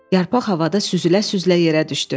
Yarpaq havada süzülə-süzülə yerə düşdü.